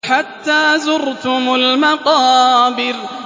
حَتَّىٰ زُرْتُمُ الْمَقَابِرَ